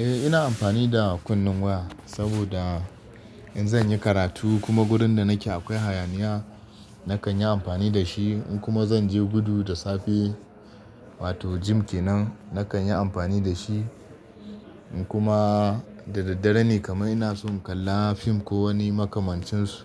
Eh ina amfani da kunnen waya saboda in zan yi karatu kuma gurin da nake akwai hayaniya, nakan yi amfani da shi. In kuma zan je gudu da safe wato gym kenan nakan yi amfani da shi. In kuma da daddare ne kamar ina son kallon fim ko wani makamancin su